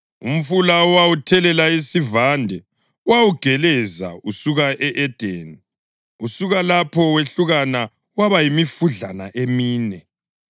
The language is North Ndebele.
Umfula owawuthelela isivande wawugeleza usuka e-Edeni; usuka lapho wehlukana waba yimifudlana emine.